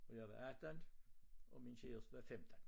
Og jeg var 18 og min kæreste var 15